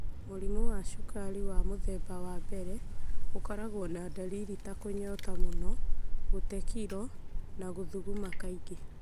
Mũrimũ wa cukari wa mũthemba wa mbere ũkoragwo na dariri ta kũnyota mũno, gũte kiro, na gũthuguma kaingĩ.